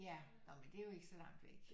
Ja nå men det er jo ikke så langt væk